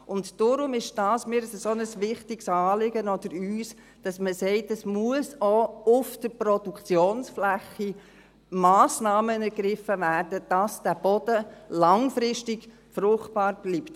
Deshalb ist es mir oder uns ein so wichtiges Anliegen, dass man sagt, dass auch auf der Produktionsfläche Massnahmen ergriffen werden müssen, damit der Boden langfristig fruchtbar bleibt.